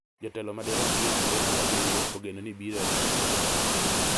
Jotelo madirom piero adek gi abirio ogeno ni biro e chokruogno